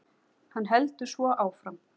Hann heldur svo áfram